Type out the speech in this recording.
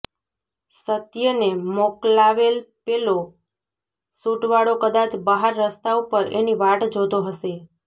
સત્યેને મોકલાવેલ પેલો સૂટવાળો કદાચ બહાર રસ્તા ઉપર એની વાટ જોતો હશે